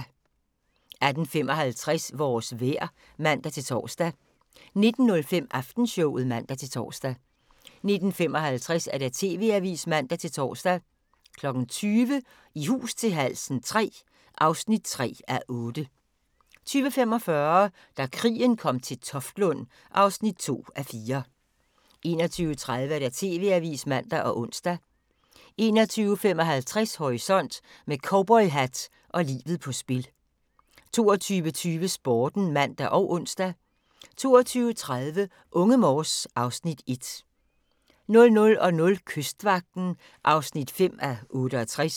18:55: Vores vejr (man-tor) 19:05: Aftenshowet (man-tor) 19:55: TV-avisen (man-tor) 20:00: I hus til halsen III (3:8) 20:45: Da krigen kom til Toftlund (2:4) 21:30: TV-avisen (man og ons) 21:55: Horisont: Med cowboyhat og livet på spil 22:20: Sporten (man og ons) 22:30: Unge Morse (Afs. 1) 00:00: Kystvagten (5:68)